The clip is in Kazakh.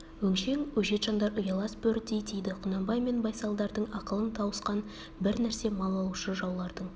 өңшең өжет жандар ұялас бөрідей тиді құнанбай мен байсалдардың ақылын тауысқан бір нәрсе мал алушы жаулардың